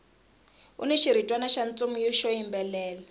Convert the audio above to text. uni xiritwana xa ntsumi xo yimbelela